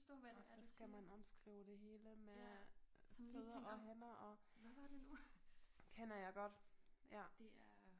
Og så skal man omskrive det hele med fødder og hænder og kender jeg godt ja